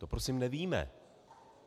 To prosím nevíme.